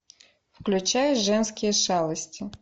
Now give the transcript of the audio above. включай женские шалости